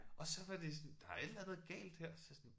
Og så var de sådan der et eller andet galt her så jeg sådan